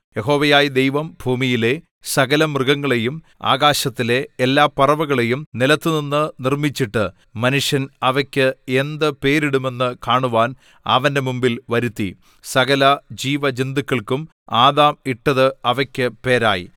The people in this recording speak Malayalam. യഹോവയായ ദൈവം ഭൂമിയിലെ സകലമൃഗങ്ങളെയും ആകാശത്തിലെ എല്ലാ പറവകളെയും നിലത്തുനിന്നു നിർമ്മിച്ചിട്ട് മനുഷ്യൻ അവയ്ക്ക് എന്ത് പേരിടുമെന്ന് കാണുവാൻ അവന്റെ മുമ്പിൽ വരുത്തി സകല ജീവജന്തുക്കൾക്കും ആദാം ഇട്ടത് അവയ്ക്ക് പേരായി